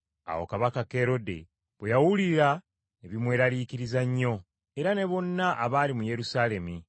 Awo Kabaka Kerode bwe yabiwulira ne bimweraliikiriza nnyo, era ne bonna abaali mu Yerusaalemi.